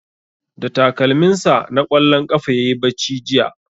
Da takalmin sa na ƙwallon ƙafa yayi bacci jiya